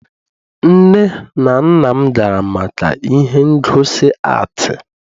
nne na nna m gara maka ihe ngosi atii